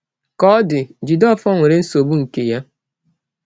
Ka ọ dị, Jideofor nwere nsogbu nke ya.